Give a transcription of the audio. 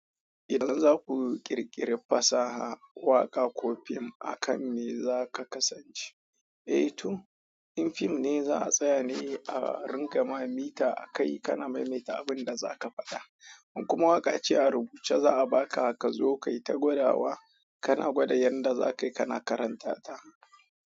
Idan za ku ƙirƙiri fasaha, waƙa ko fim, akan me za ka kasance? Eh to, in fim ne za a tsaya ne a ringa mamita a kai kana maimaita abin da za ka faɗa. In kuma waƙa ce a rubuce za a baka haka zo kai ta godawa kana gwada yadda za ka yi kana karantata.